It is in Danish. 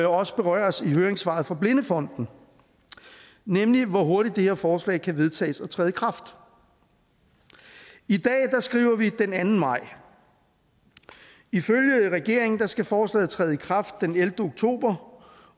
også berøres i høringssvaret fra blindefonden nemlig hvor hurtigt det her forslag kan vedtages og træde i kraft i dag skriver vi den anden maj ifølge regeringen skal forslaget træde i kraft den ellevte oktober